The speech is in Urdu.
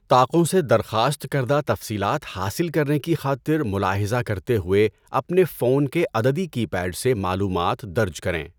طاقوں سے درخواست کردہ تفصیلات حاصل کرنے کی خاطر ملاحظہ کرتے ہوئے اپنے فون کے عددی کی پیڈ سے معلومات درج کریں۔